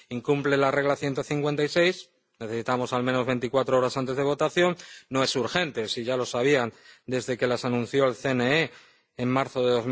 Incumplen el artículo 156 necesitábamos al menos veinticuatro horas antes de votación. No es urgente ya lo sabían desde que las anunció el CNE en marzo de